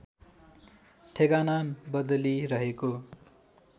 ठेगाना बदली रहेको